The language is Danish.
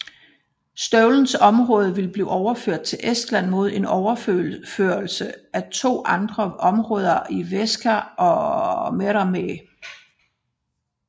Støvlens område vil blive overført til Estland mod en overførsel af to andre områder i Värska og Meremäe